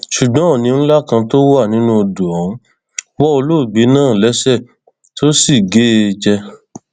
ṣùgbọn òní ńlá kan tó wà nínú odò ọhún wọ olóògbé náà lẹsẹ tó sì gé e jẹ